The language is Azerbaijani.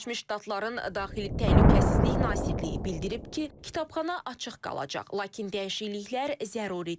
Birləşmiş Ştatların daxili təhlükəsizlik nazirliyi bildirib ki, kitabxana açıq qalacaq, lakin dəyişikliklər zəruridir.